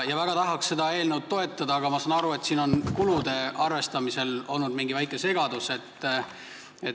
Väga tahaks seda eelnõu toetada, aga ma saan aru, et siin on kulude arvestamisel olnud mingi väike segadus.